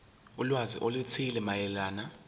ulwazi oluthile mayelana